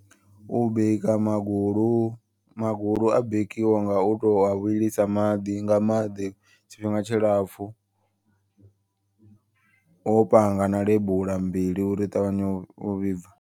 U bika magulu magulu a bikiwa nga u to a vhilisa maḓi nga maḓi tshifhinga tshilapfhu. Wo panga na lebula mbili uri ṱavhanye u vhibva.